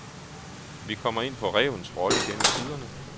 Vi kommer ind på rævens rolle gennem tiderne.